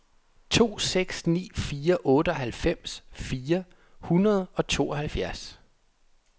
to seks ni fire otteoghalvfems fire hundrede og tooghalvfjerds